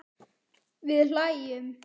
Við hlæjum.